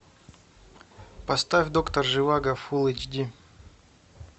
поставь доктор живаго фулл эйч ди